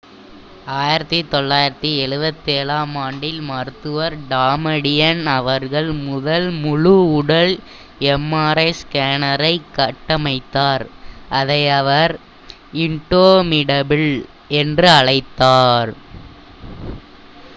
1977ஆம் ஆண்டில் மருத்துவர் டமாடியன் அவர்கள் முதல் முழு உடல் எம்ஆர்ஐ ஸ்கேனரைக் கட்டமைத்தார் அதை அவர் இண்டோமிடபில் என்று அழைத்தார்